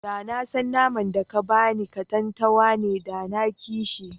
Da na san naman da ka ba ni katantanwa ne, da na ƙi shi.